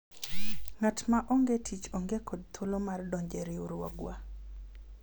ng'at ma onge tich onge kod thuolo mar donjo e riwruogwa